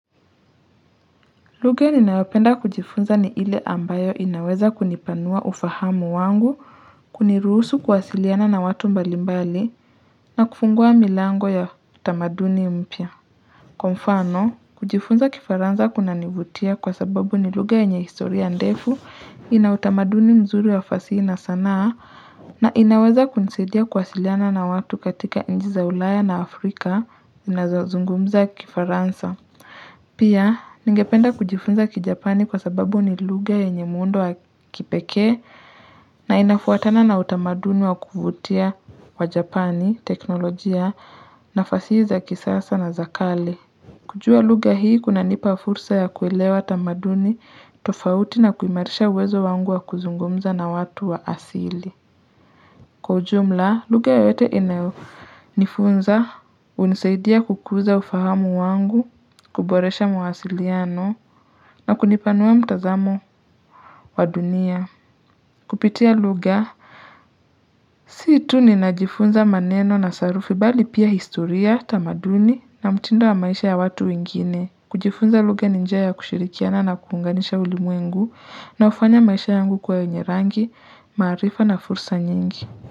Lugha ninayopenda kujifunza ni ile ambayo inaweza kunipanua ufahamu wangu, kuniruhusu kuwasiliana na watu mbalimbali, na kufungua milango ya utamaduni mpya. Kwa mfano, kujifunza kifaransa kunanivutia kwa sababu ni lugha yenye historia ndefu ina utamaduni mzuri ya fasihi na sanaa, na inaweza kunisaidia kuwasiliana na watu katika nchi za ulaya na Afrika zinazozungumza kifaransa. Pia, ningependa kujifunza kijapani kwa sababu ni lugha yenye muundo wa kipekee na inafuatana na utamaduni wa kuvutia wa japani, teknolojia na fasihi za kisasa na za kale. Kujua lugha hii kunanipa fursa ya kuelewa tamaduni, tofauti na kuimarisha uwezo wangu wa kuzungumza na watu wa asili. Kwa ujumla, lugha yoyote inayonifunza hunisaidia kukuza ufahamu wangu, kuboresha mawasiliano na kunipanua mtazamo wa dunia. Kupitia lugha, si tu ninajifunza maneno na sarufi bali pia historia, tamaduni na mtindo wa maisha ya watu wengine. Kujifunza lugha ni njia ya ya kushirikiana na kuunganisha ulimwengu na hufanya maisha yangu kuwa yenye rangi, maarifa na fursa nyingi.